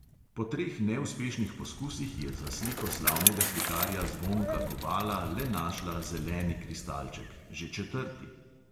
Po treh neuspešnih poskusih je za sliko slavnega slikarja zvonka kobala le našla zeleni kristalček, že četrti.